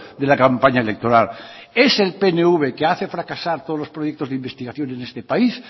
de la campaña electoral es el pnv que hace fracasar todos los proyectos de investigación en este país